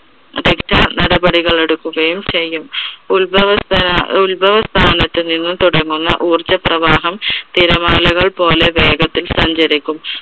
നടപടികൾ എടുക്കുകയും ചെയ്യും. ഉത്ഭവ സ്ഥാന, ഉത്ഭവ സ്ഥാനത്തു നിന്നും തുടങ്ങുന്ന ഉർജ്ജപ്രവാഹം തിരമാലകൾ പോലെ വേഗത്തിൽ സഞ്ചരിക്കും.